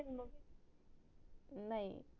नाई